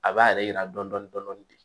A b'a yɛrɛ yira dɔni dɔni de